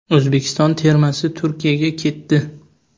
O‘zbekiston termasi Turkiyaga ketdi.